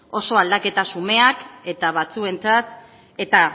oso aldaketa xumeak eta batzuentzat eta